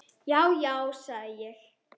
Já, já, sagði ég.